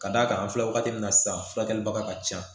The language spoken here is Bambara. Ka d'a kan an filɛ wagati min na sisan furakɛlibaga ka ca